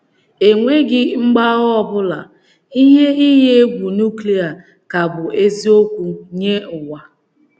E nweghi mgbagha ọ bụla, ihe iyi egwu núklia ka bụ́ eziiokwu nye ụwa.